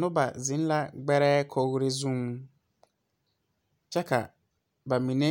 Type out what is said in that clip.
Noba zeŋ la gbɛrɛɛ kori zeŋ, kyɛ ka ba mine.